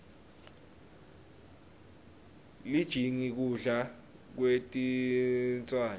lijingi kudla kwetinswane